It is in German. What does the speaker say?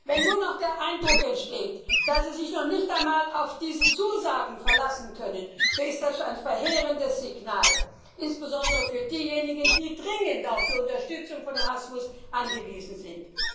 Wenn nun noch der Eindruck entsteht, dass sie sich nicht einmal auf diese Zusagen verlassen können, so ist das ein verheerendes Signal, insbesondere für diejenigen, die dringend auf die Unterstützung von ERASMUS angewiesen sind.